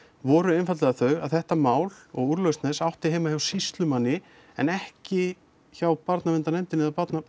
voru einfaldlega þau að þetta mál og úrlausn þess átti heima hjá sýslumanni en ekki hjá barnaverndarnefndinni eða